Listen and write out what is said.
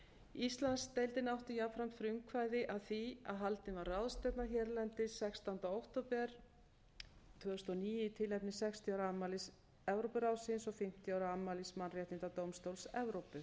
íslandsdeildin átti jafnframt frumkvæði að því að haldin var ráðstefna hérlendis sextánda október tvö þúsund og níu í tilefni sextíu ára afmælis evrópuráðsins og fimmtíu ára afmælis mannréttindadómstóls evrópu